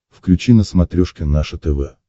включи на смотрешке наше тв